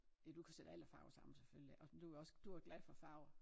Det du kan sætte alle farver sammen selvfølgelig og du jo også du også glad for farver